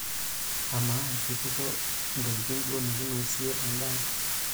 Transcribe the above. Amaa, keitukuo ntokitin duo nikinosie endaa?